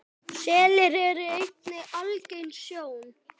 Selir eru einnig algeng sjón.